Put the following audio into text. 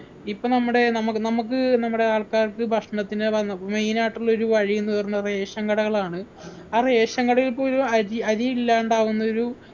ഇപ്പൊ നമ്മുടെ നമ്മക്ക് നമ്മക്ക് നമ്മുടെ ആൾക്കാർക്ക് ഭക്ഷണത്തിന്റെ വന്ന main ആയിട്ടുള്ളൊരു വഴിന്ന് പറഞ്ഞ ration കടകളാണ് ആ ration കടയിൽ പോലും അരി അരിയില്ലാണ്ടാവുന്നൊരു